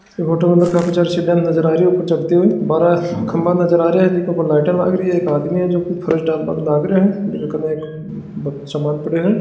फोटो के अंदर काफी सारी सीढ़िया नज़र आरी ऊपर चढ़ते हुए है बारे खम्बा नज़र आरा जी के ऊपर लाइट लाग री है एक आदमी है जको फर्श डाल बा के लाग रो है कन सामान पड़ो है।